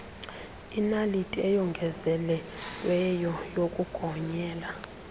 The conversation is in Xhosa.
inaliti eyongezelelweyo yokugonyela